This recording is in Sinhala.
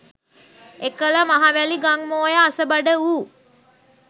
එකල මහවැලි ගං මෝය අසබඩ වූ